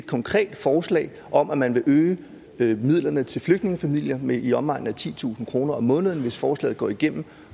konkret forslag om at man vil øge øge midlerne til flygtningefamilier med i omegnen af titusind kroner om måneden hvis forslaget går igennem